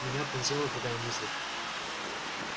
меня пронзила другая мысль